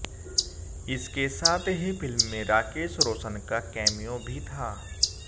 इसके साथ ही फिल्म में राकेश रोशन का कैमियो भी था